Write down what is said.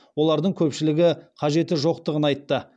олардың көпшілігі қажеті жоқтығын айтты